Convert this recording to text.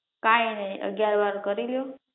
કાંઈ નઈ અગ્યારવાર કરી લ્યો.